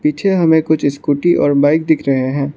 पीछे हमें कुछ स्कूटी और बाइक दिख रहे है।